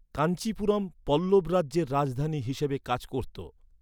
কাঞ্চীপুরম পল্লব রাজ্যের রাজধানী হিসাবে কাজ করতো।